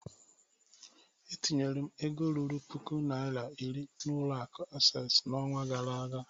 E tinyere m ego ruru puku naira iri n'ụlọ akụ Asess n'ọnwa gara aga